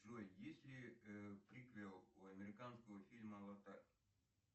джой есть ли триквелл у американского фильма аватар